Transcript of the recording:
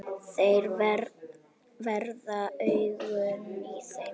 Þeir verða augun í þér.